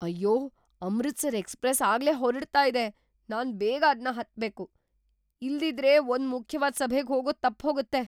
ಅಯ್ಯೋ! ಅಮೃತ್‌ಸರ್ ಎಕ್ಸ್‌ಪ್ರೆಸ್ ಆಗ್ಲೇ ಹೊರಡ್ತಾ ಇದೆ. ನಾನ್ ಬೇಗ ಅದ್ನ ಹತ್ಬೇಕು, ಇಲ್ದಿದ್ರೆ ಒಂದ್ ಮುಖ್ಯವಾದ್‌ ಸಭೆಗ್‌ ಹೋಗೋದು ತಪ್ಪ್‌ಹೋಗತ್ತೆ.